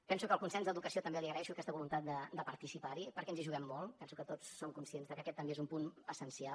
penso que en el consens d’educació també li agraeixo aquesta voluntat de participar hi perquè ens hi juguem molt penso que tots som conscients que aquest també és un punt essencial